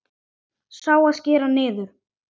Sá, að skera niður.